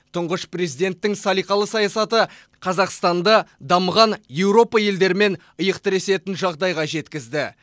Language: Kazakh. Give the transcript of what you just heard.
тұңғыш президенттің салиқалы саясаты қазақстанды дамыған еуропа елдерімен иық тіресетін жағдайға жеткізді